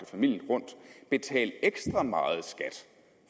familien rundt betale ekstra meget skat